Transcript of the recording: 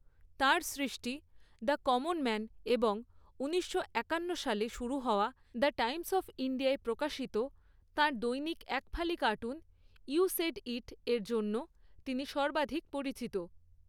তাঁর সৃষ্টি, the Common Man এবং ঊনিশশো একান্ন সালে শুরু হওয়া দ্য টাইমস অফ ইন্ডিয়ায় প্রকাশিত তাঁর দৈনিক একফালি কার্টুন ইউ সেড ইটের জন্য তিনি সর্বাধিক পরিচিত।